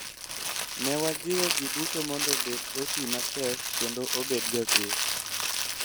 Ne wajiwo jiduto mondo obed otii matek kendo obed jochir.